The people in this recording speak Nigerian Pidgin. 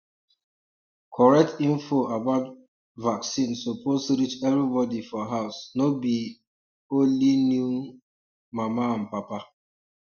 correct info about um vaccine suppose reach everybody for house no be um only new um mama and papa